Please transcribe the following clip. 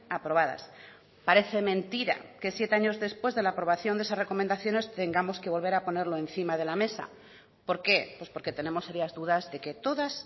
aprobadas parece mentira que siete años después de la aprobación de esas recomendaciones tengamos que volver a ponerlo encima de la mesa por qué pues porque tenemos serias dudas de que todas